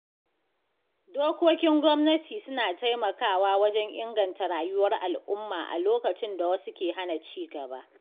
Dokokin gwamnati suna taimakawa wajen inganta rayuwar al'umma a lokacin da wasu ke hana cigaba.